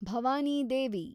Bhavani Devi